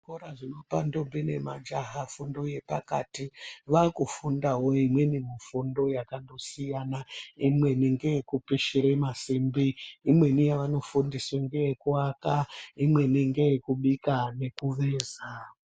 Zvikora zvinopa ndombi nemajaha fundo yepakati vakufundawo imweni fundo yakandosiyana imweni ndeyekupishira masimbi Imweni yavanofundisa imweni ndeye kuvaka imweni ndeye kubika nemuveza.